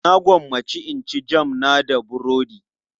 Na gwammace in ci jam na da burodi.